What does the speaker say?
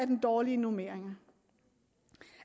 den dårlige normering